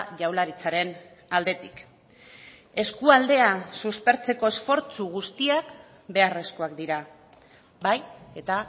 jaurlaritzaren aldetik eskualdea suspertzeko esfortzu guztiak beharrezkoak dira bai eta